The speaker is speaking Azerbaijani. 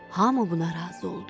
Hamı buna razı oldu.